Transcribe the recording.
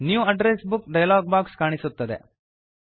new address book dialog box ಕಾಣಿಸುತ್ತದೆ